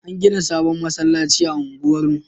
An gina sabon masallacin a unguwar mu